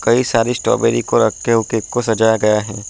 कई सारी स्ट्रॉबेरी को रखके उ केक को सजाया गया है।